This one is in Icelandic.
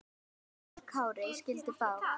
Við lagi Kári skildi brá.